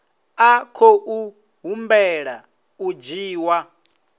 a khou humbela u dzhiwa